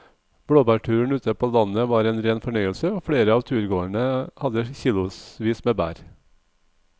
Blåbærturen ute på landet var en rein fornøyelse og flere av turgåerene hadde kilosvis med bær.